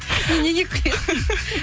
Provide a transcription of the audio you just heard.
сен неге күлесің